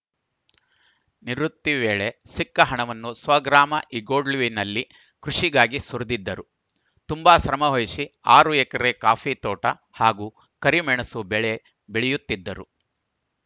ನಿವೃತ್ತಿ ವೇಳೆ ಸಿಕ್ಕ ಹಣವನ್ನು ಸ್ವಗ್ರಾಮ ಇಗ್ಗೋಡ್ಲುವಿನಲ್ಲಿ ಕೃಷಿಗಾಗಿ ಸುರಿದಿದ್ದರು ತುಂಬಾ ಶ್ರಮವಹಿಸಿ ಆರು ಎಕರೆ ಕಾಫಿ ತೋಟ ಹಾಗೂ ಕರಿಮೆಣಸು ಬೆಳೆ ಬೆಳೆಯುತ್ತಿದ್ದರು